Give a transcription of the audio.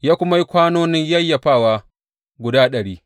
Ya kuma yi kwanonin yayyafawa guda ɗari.